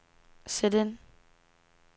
sæt ind